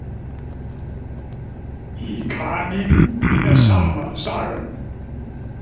Í kanínum er sama sagan.